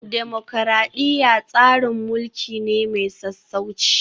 Dimokuradiyya tsarin mulki ne mai sassauci